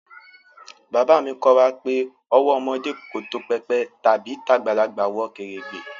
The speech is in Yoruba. Baba mi ko wa pe owó ọmọdé tó pépè tàbí tagbalagbà wọ kèrègbè